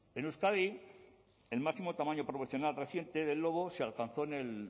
en euskadi el máximo tamaño profesional reciente del lobo se alcanzó en el